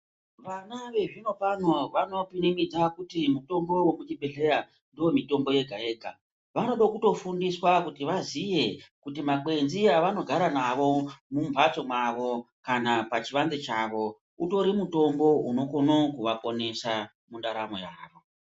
Vana vezvinopano vanopinimidza kuti mitombo yekuzvibhedhlera ndiyo mitombo yega-yega. Vanoda kutofundiswa kuti vaziye kuti makwenzi avanogara navo ,mumbatso mavo kana pachivanze chavo, utori mutombo unokono kuvaponesa mundaramo yavo.